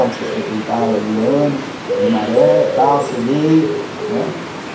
Vocês enfrentaram aí um ano de maré e tal, cheguei, né?